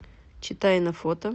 читайна фото